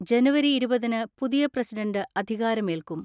ജനുവരി ഇരുപതിന് പുതിയ പ്രസിഡന്റ് അധികാരമേൽക്കും.